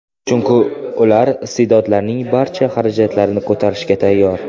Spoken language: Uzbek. Chunki ular iste’dodlarning barcha xarajatlarini ko‘tarishga tayyor.